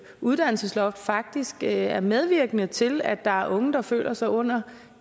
uddannelsesloft faktisk er medvirkende til at der er unge der føler sig under